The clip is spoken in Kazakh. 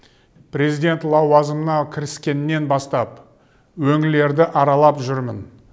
президент лауазымына кіріскеннен бастап өңірлерді аралап жүрмін